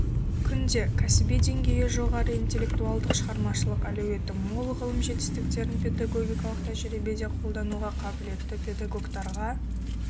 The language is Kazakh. күнде кәсіби деңгейі жоғары интеллектуалдық шығармашылық әлеуеті мол ғылым жетістіктерін педагогикалық тәжірибеде қолдануға қабілетті педагогтарға